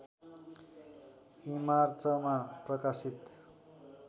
ईमार्चमा प्रकाशित